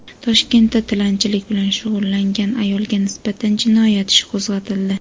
Toshkentda tilanchilik bilan shug‘ullangan ayolga nisbatan jinoyat ishi qo‘zg‘atildi.